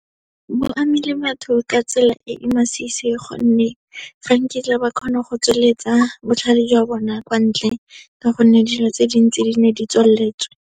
Bo amile batho ka tsela e e masisi gonne, ga nkitla ba kgona go tsweletsa botlhale jwa bona kwa ntle, ka gonne dilo tse dintsi di ne di tswaletswe.